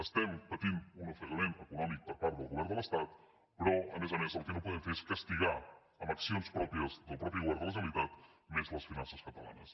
estem patint un ofegament econòmic per part del govern de l’estat però a més a més el que no podem fer és castigar amb accions pròpies del mateix govern de la generalitat més les finances catalanes